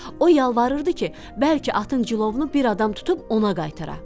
O yalvarırdı ki, bəlkə atın cilovunu bir adam tutub ona qaytara.